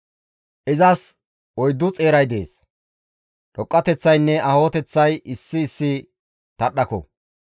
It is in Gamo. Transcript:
Izas oyddu xeeray dees; dhoqqateththaynne aahoteththay issi issi tadhdhako.